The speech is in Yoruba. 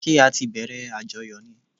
Ṣẹ́ á tí bẹ̀rẹ̀ àjọyọ̀ ni?